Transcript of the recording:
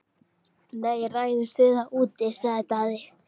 Nei, ræðumst við úti, sagði Daði.